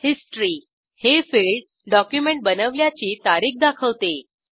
history - हे field document बनवल्याची तारीख दाखवते